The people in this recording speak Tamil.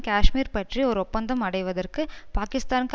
காஷ்மீர் பற்றி ஒரு ஒப்பந்தம் அடைவதற்கு பாக்கிஸ்தானுக்கு